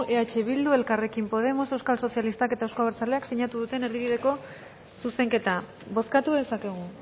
eh bildu elkarrekin podemos euskal sozialistak eta euzko abertzaleak sinatu duten erdibideko zuzenketa bozkatu dezakegu